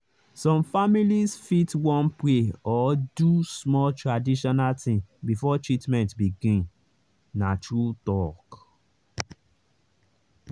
some families fit wan pray or do small traditional thing before treatment begin—na true talk.